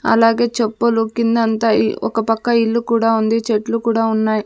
అలాగే చెప్పులు కిందంతా ఇ ఒకపక్క ఇల్లు కూడా ఉంది చెట్లు కూడా ఉన్నాయ్.